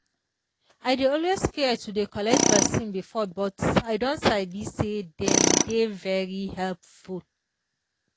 i dey always fear to dey collect vaccine before but i don sabi say dem dey very helpful